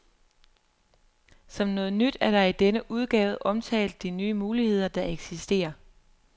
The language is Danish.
Som noget nyt er der i denne udgave omtalt de nye muligheder, der eksisterer.